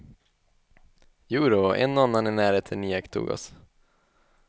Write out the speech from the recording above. Jodå, en och annan i närheten iakttog oss.